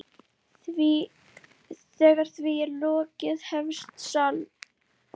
Þegar því er lokið hefst slagurinn.